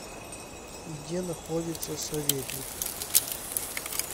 где находится советникъ